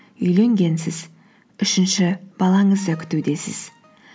үйленгенсіз үшінші балаңызды күтудесіз